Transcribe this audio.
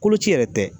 Koloci yɛrɛ tɛ